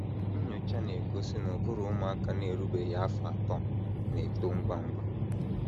Nnyocha na - egosi na ụbụrụ ụmụaka na - erubeghị afọ atọ na - eto ngwa ngwa.